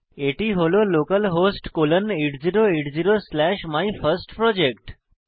এটি হল localhost colon 8080 slash my first project